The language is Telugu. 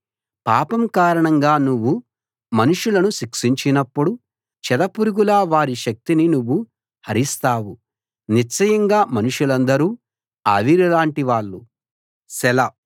పాపం కారణంగా నువ్వు మనుషులను శిక్షించినప్పుడు చెద పురుగులా వారి శక్తిని నువ్వు హరిస్తావు నిశ్చయంగా మనుషులందరూ ఆవిరిలాంటి వాళ్ళు సెలా